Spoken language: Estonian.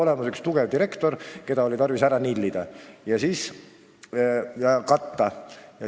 Oli nimelt üks tugev direktor, keda oli vaja tarvis ära nillida ja katta.